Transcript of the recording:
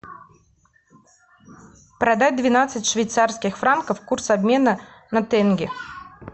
продать двенадцать швейцарских франков курс обмена на тенге